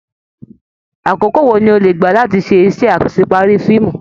Àkókò wò ní o le gbá láti se isẹ́ asepari fíìmù?